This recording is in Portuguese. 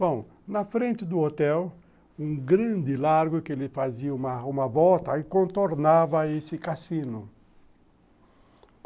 Bom, na frente do hotel, um grande largo que ele fazia uma volta e contornava esse cassino.